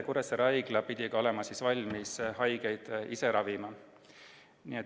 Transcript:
Kuressaare Haigla pidi olema valmis haigeid ise ravima.